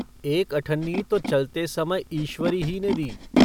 एक अठन्नी तो चलते समय ईश्वरी ही ने दी।